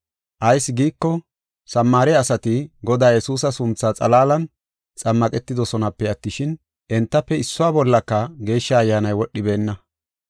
Ayis giiko, Samaare asati Godaa Yesuusa sunthaa xalaalan xammaqetidosonape attishin, entafe issuwa bollaka Geeshsha Ayyaanay wodhibeenna.